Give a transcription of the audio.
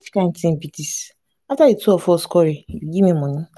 which kin thing be dis. after the two of us quarrel you give me money.